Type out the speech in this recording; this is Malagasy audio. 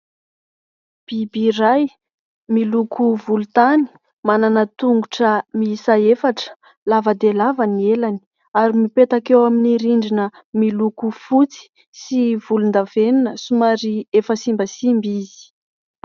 Biby iray miloko volontany manana tongotra miisa efatra, lava dia lava ny elany ary mipetaka eo amin'ny rindrina miloko fotsy sy volondavenina somary efa simbasimba izy.